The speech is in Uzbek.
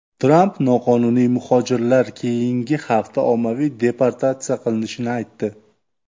Tramp noqonuniy muhojirlar keyingi hafta ommaviy deportatsiya qilinishini aytdi.